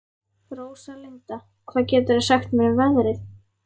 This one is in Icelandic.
Róslinda, hvað geturðu sagt mér um veðrið?